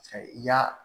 I y'a